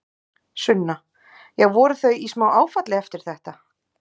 Sunna: Já, voru þau í smá áfalli eftir þetta?